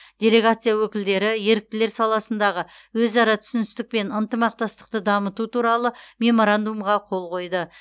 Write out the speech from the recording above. делегация өкілдері еріктілер саласындағы өзара түсіністік пен ынтымақтастықты дамыту туралы меморандумға қол қойды